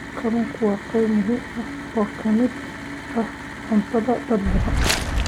Kalluunku waa qayb muhiim ah oo ka mid ah cuntada dad badan.